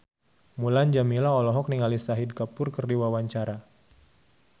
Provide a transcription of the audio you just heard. Mulan Jameela olohok ningali Shahid Kapoor keur diwawancara